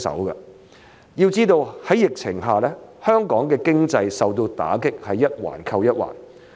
要知道，在疫情下香港經濟所受的打擊是一環扣一環的。